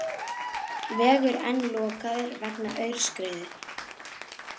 Vegur enn lokaður vegna aurskriðu